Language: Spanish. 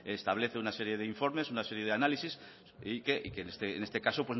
establece una serie de informes una serie de análisis y que en este caso